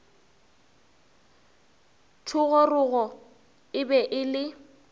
thogorogo e be e le